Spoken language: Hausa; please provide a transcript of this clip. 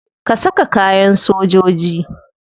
Ka saka kayan sojoji.